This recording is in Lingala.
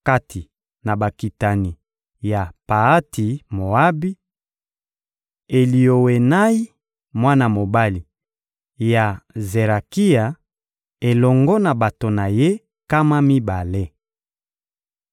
Kati na bakitani ya Paati-Moabi: Eliowenayi, mwana mobali ya Zerakia, elongo na bato na ye nkama mibale.